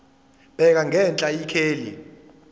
bheka ngenhla ikheli